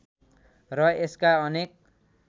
र यसका अनेक